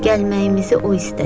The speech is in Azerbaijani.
Gəlməyimizi o istədi.